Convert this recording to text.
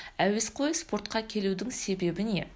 әуесқой спортқа келудің себебі не